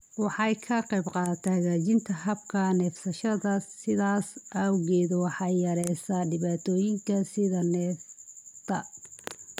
Waxay ka qaybqaadataa hagaajinta habka neefsashada, sidaas awgeed waxay yareysaa dhibaatooyinka sida neefta.